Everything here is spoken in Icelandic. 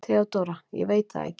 THEODÓRA: Ég veit það ekki.